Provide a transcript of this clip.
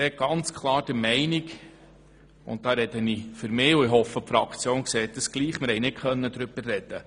Nun spreche ich für mich und hoffe, dass meine Fraktion das ebenso sieht, denn auch wir konnten nicht darüber diskutieren.